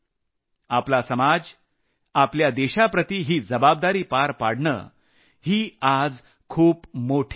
आपला समाज आपल्या देशाप्रति ही जबाबदारी पार पाडणं ही आज खूप मोठी गरज आहे